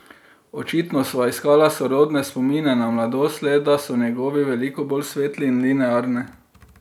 Očitno sva iskala sorodne spomine na mladost, le da so njegovi veliko bolj svetli in linearni.